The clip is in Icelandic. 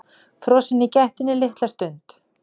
Frosin í gættinni litla stund.